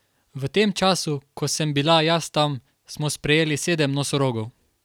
V tem času, ko sem bila jaz tam, smo sprejeli sedem nosorogov.